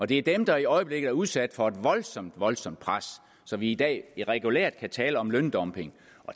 det er dem der i øjeblikket er udsat for et voldsomt voldsomt pres så vi i dag regulært kan tale om løndumping